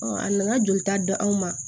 a nana jolita d'anw ma